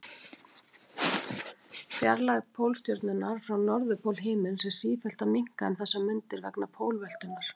Fjarlægð Pólstjörnunnar frá norðurpól himins er sífellt að minnka um þessar mundir vegna pólveltunnar.